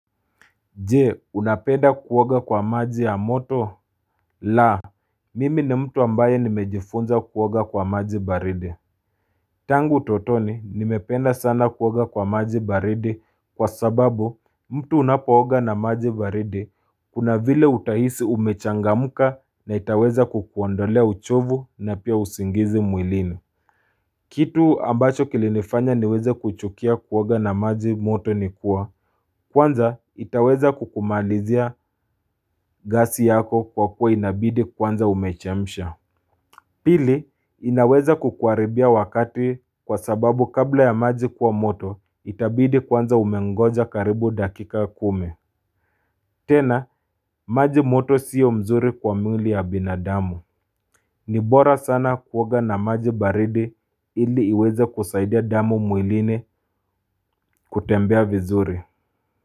Je unapenda kuoga kwa maji ya moto la mimi ni mtu ambaye nimejifunza kuoga kwa maji baridi Tangu utotoni nimependa sana kuoga kwa maji baridi kwa sababu mtu unapooga na maji baridi kuna vile utahisi umechangamka na itaweza kukuondolea uchovu na pia usingizi mwilini Kitu ambacho kilinifanya niweze kuchukia kuoga na maji moto nikuwa, kwanza itaweza kukumaalizia gasi yako kwa kuwa inabidi kwanza umechemsha. Pili, inaweza kukuaribia wakati kwa sababu kabla ya maji kuwa moto, itabidi kwanza umengoja karibu dakika kumi. Tena, maji moto sio mzuri kwa mwili ya binadamu. Nibora sana kuoga na maji baridi ili iweze kusaidia damu mwilini kutembea vizuri.